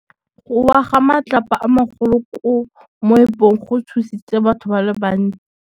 Go wa ga matlapa a magolo ko moepong go tshositse batho ba le bantsi.